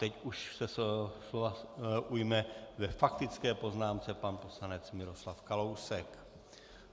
Teď už se slova ujme ve faktické poznámce pan poslanec Miroslav Kalousek.